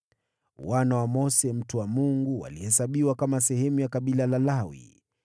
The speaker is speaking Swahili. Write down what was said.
Wana wa Mose mtu wa Mungu walihesabiwa kama sehemu ya kabila la Lawi.